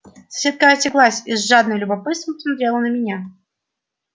соседка осеклась и с жадным любопытством посмотрела на меня